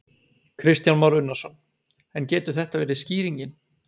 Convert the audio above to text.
Kristján Már Unnarsson: En getur þetta verið skýringin?